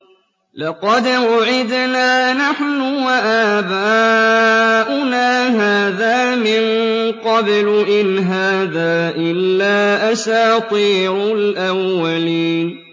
لَقَدْ وُعِدْنَا نَحْنُ وَآبَاؤُنَا هَٰذَا مِن قَبْلُ إِنْ هَٰذَا إِلَّا أَسَاطِيرُ الْأَوَّلِينَ